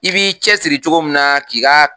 I b'i cɛ siri cogo min na k'i ka.